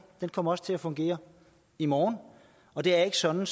kommer også til at fungere i morgen og det er ikke sådan